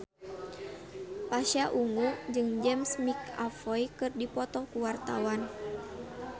Pasha Ungu jeung James McAvoy keur dipoto ku wartawan